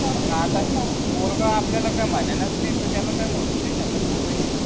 आता पोरग आपल्याला काही म्हणेलच नि त्याला काही म्हणूच नि शकत नी भाई